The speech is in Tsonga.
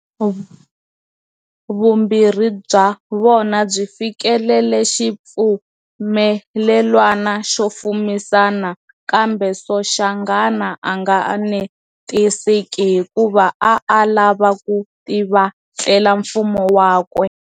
Vumbirhi bya vona byi fikelele xipfumelelwano xo fumisana, kambe Soshanghana anga anetiseki hikuva a a lava ku tivatlela mfumo wakwe.